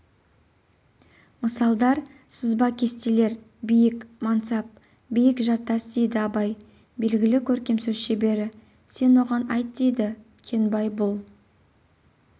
мысалдар сызба-кестелер биік мансап биік жартас дейді абай белгілі көркем сөз шебері сен оған айт деді кенбай бұл